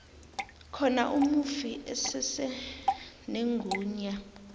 khona umufi usesenegunya